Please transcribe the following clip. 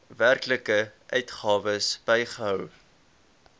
werklike uitgawes bygehou